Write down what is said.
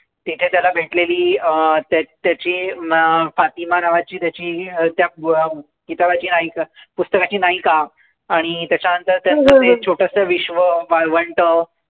तिथे त्याला भेटलेली त्याची फातिमा नावाची त्याची त्या अं किताबाची त्या पुस्तकाची नायिका. आणि त्याच्यानंतर त्याला भेटलेलं एक छोटंसं विश्व वाळवंट.